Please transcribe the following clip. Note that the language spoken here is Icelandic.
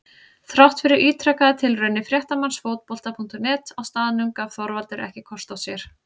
Þrátt fyrir ítrekaðar tilraunir fréttamanns Fótbolta.net á staðnum gaf Þorvaldur ekki kost á sér.